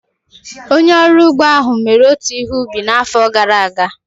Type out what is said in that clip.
Onye ọrụ ugbo ahụ mere otu ihe ubi n'afọ gara aga.